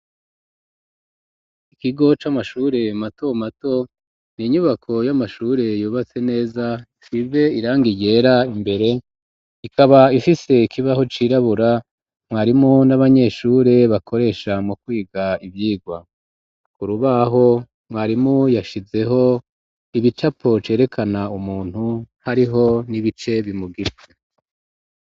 Ikigo c'amashure mato mato n'inyubako y'amashure yubatse neza ifise irangi ryera imbere ikaba ifise ikibaho c'irabura mwarimu n'abanyeshure bakoresha mu kwiga ivyirwa ku rubaho mwarimu yashizeho ibicapo cerekana umuntu hariho n'ibice bimugize.